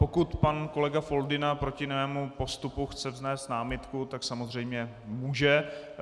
Pokud pan kolega Foldyna proti mému postupu chce vznést námitku, tak samozřejmě může.